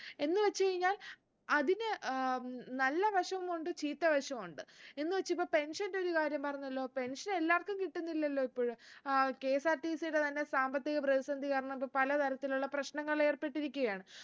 എന്ന് വച്ച് കഴിഞ്ഞാൽ അതിന് ഏർ നല്ല വശുമുണ്ട് ചീത്ത വശു ഉണ്ട് എന്ന് വെച്ച് ഇപ്പൊ pension ന്റെ ഒരു കാര്യം പറഞ്ഞല്ലോ pension എല്ലാർക്കും കിട്ടുന്നില്ലല്ലോ ഇപ്പോഴ് ഏർ KSRTC ടെ തന്നെ സാമ്പത്തിക പ്രതിസന്ധി കാരണം ഇപ്പൊ പല തരത്തിലുള്ള പ്രശ്നങ്ങളിലേർപ്പെട്ടിരിക്കുകയാണ്